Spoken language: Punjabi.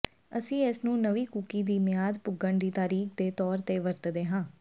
ਅਸੀਂ ਇਸਨੂੰ ਨਵੀਂ ਕੂਕੀ ਦੀ ਮਿਆਦ ਪੁੱਗਣ ਦੀ ਤਾਰੀਖ ਦੇ ਤੌਰ ਤੇ ਵਰਤਦੇ ਹਾਂ